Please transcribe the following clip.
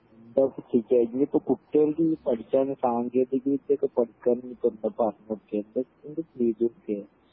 എന്താപ്പൊ ചെയ്യെ ഇനീപ്പോ കുട്ട്യേൾക്ക് ഈ പഠിക്കാൻ സാങ്കേതിക വിദ്യ ഒക്കെ പഠിക്കാൻ ഇനീപ്പോ എന്താ പറഞ്ഞൊടുക്കെ എന്താ ചെയ്തൊടുക്കെ